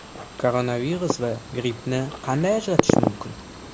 Koronavirus va grippni qanday ajratish mumkin?